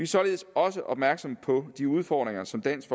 således også opmærksom på de udfordringer som dansk